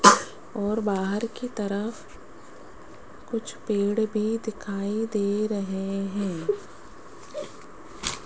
और बाहर की तरफ कुछ पेड़ भी दिखाई दे रहे हैं।